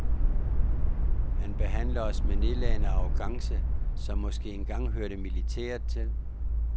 Han behandler os med en nedladende arrogance, som måske engang hørte militæret til.